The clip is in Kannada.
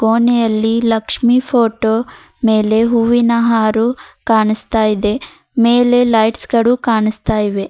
ಕೋಣೆಯಲ್ಲಿ ಲಕ್ಷ್ಮಿ ಫೋಟೋ ಮೇಲೆ ಹೂವಿನಹಾರು ಕಾಣಿಸ್ತಾ ಇದೆ ಮೇಲೆ ಲೈಟ್ಸ್ ಗಳು ಕಾಣಿಸ್ತಾ ಇವೆ.